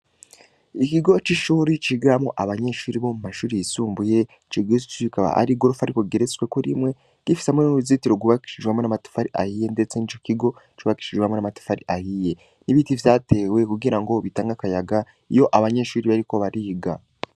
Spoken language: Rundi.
Ikigo c'ishure cigamwo abanyeshure bo mu mashure yisumbuye, ico kigo kikaba hari igorofa rigeretsweko rimwe, gifise n'uruzitiro rwubakishijwe hamwe n'amatafari ahiye ndetse n'ico kigo cubakishijwe hamwe n'amatafari ahiye. Ibiti vyatewe kugirango bitange akayaga iyo abanyeshure bariko bariga.